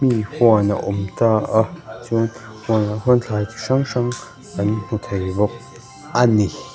hnim huan a awm ta a chuan hunah khuan thlai chi hrang hrang kan hmu thei bawk a ni.